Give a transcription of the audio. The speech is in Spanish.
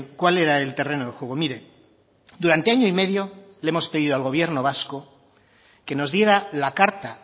cuál era el terreno de juego mire durante año y medio le hemos pedido al gobierno vasco que nos diera la carta